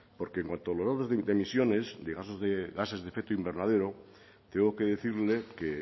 porque en cuanto a los datos de gases de efecto invernadero tengo que decirle que